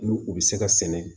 N'u u bɛ se ka sɛnɛ